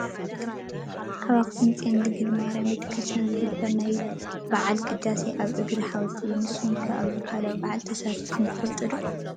ኣብ ኣክሱም ፅዮን ድንግል ማርያም ቤተ-ክርስትያን ዝግበር ናይ ባዓል ቅዳሴ ኣብ እግሪ ሓወልቲ እዩ። ንስኩም ኣብዚ ሃይማኖታዊ ባዓል ተሳቲፍኩም ዶ ትፈልጡ ?